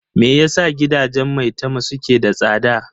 Me yasa gidajen Maitama suke da tsada?